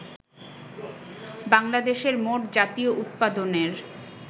বাংলাদেশের মোট জাতীয় উৎপাদনের